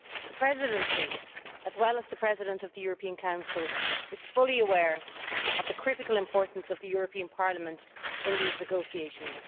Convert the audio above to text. The Presidency, as well as the President of the European Council, is fully aware of the critical importance of this Parliament in these negotiations.